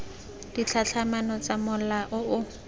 ditlhatlhamano tsa mola o o